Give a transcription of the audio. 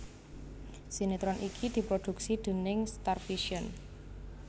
Sinetron iki diprodhuksi déning Starvision